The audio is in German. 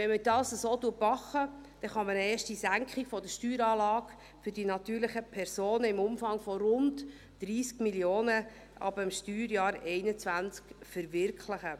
Wenn man das so packt kann man eine erste Senkung der Steueranlage für die natürlichen Personen im Umfang von rund 30 Mio. Franken ab dem Steuerjahr 2021 verwirklichen.